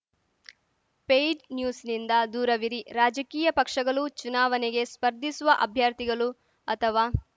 paid ನ್ಯೂಸ್‌ನಿಂದ ದೂರವಿರಿ ರಾಜಕೀಯ ಪಕ್ಷಗಲು ಚುನಾವನೆಗೆ ಸ್ಪರ್ಧಿಸುವ ಅಭ್ಯರ್ಥಿಗಲು ಅಥವಾ